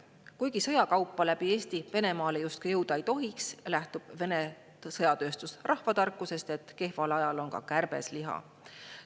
Kuigi sõjakaupa läbi Eesti Venemaale justkui jõuda ei tohiks, lähtub Vene sõjatööstus rahvatarkusest, et kehval ajal on ka kärbes liha.